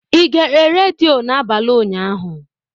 Ị gere redio n'abalị ụnyaahụ?